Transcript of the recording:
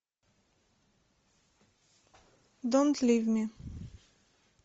донт лив ми